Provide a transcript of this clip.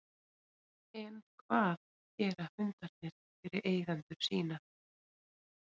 En hvað gera hundarnir fyrir eigendur sína?